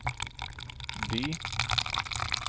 by